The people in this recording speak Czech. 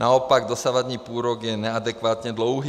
Naopak, dosavadní půlrok je neadekvátně dlouhý.